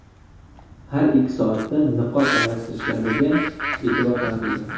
Har ikki soatda niqob almashtirishlariga e’tibor qaratildi.